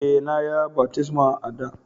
E,na ya baftisma a'da.